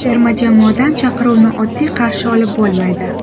Terma jamoadan chaqiruvni oddiy qarshi olib bo‘lmaydi.